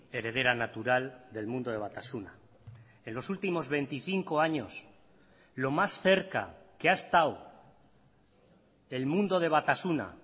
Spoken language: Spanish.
heredera natural del mundo de batasuna en los últimos veinticinco años lo más cerca que ha estado el mundo de batasuna